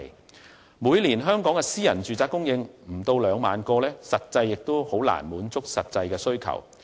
香港每年的私人住宅單位供應量只有不足2萬個，根本難以滿足實際需求。